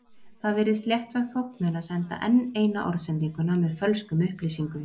Það virðist léttvæg þóknun að senda enn eina orðsendinguna með fölskum upplýsingum.